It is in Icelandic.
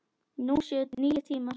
Nú séu nýir tímar.